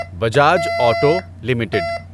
Bajaj auto limited